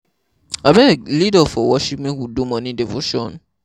Abeg lead us for worship make we do morning devotion.